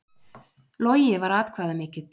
Logi var atkvæðamikill